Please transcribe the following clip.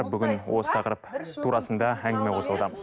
бүгін осы тақырып турасында әңгіме қозғаудамыз